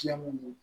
Siɲɛ mun ye